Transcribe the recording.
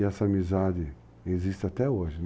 E essa amizade existe até hoje.